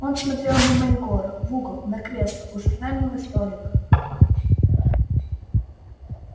он смотрел мимо егора в угол на кресло у журнального столика